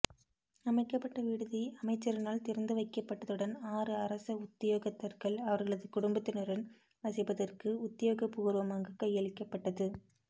அமைக்கப்பட்ட விடுதி அமைச்சரினால் திறந்து வைக்கப்பட்டதுடன் ஆறு அரச உத்தியோகத்தர்கள் அவர்களது குடும்பத்தினருடன் வசிப்பதற்கு உத்தியோக பூர்வமாக் கையளிக்கப்பட்டது